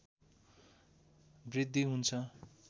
वृद्धि हुन्छ